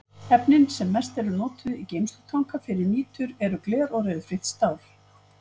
Efnin sem mest eru notuð í geymslutanka fyrir nitur eru gler og ryðfrítt stál.